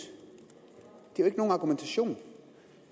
det er jo ikke nogen argumentation